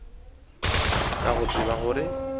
ka go tseba gore ke